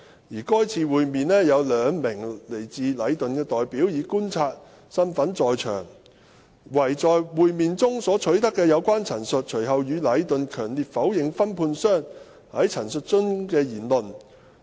在該次會面有兩名來自禮頓的代表以觀察身份在場，唯在會面中所取得的有關陳述，隨後禮頓強烈否認分判商在陳述中的言論。